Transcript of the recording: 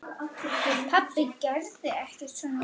Pabbi gerði ekkert svona.